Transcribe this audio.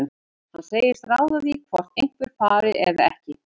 Hann segist ráða því hvort einhver fari eða ekki.